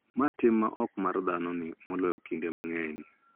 Mar tim ma ok en mar dhano ni moloyo kinde mang�eny.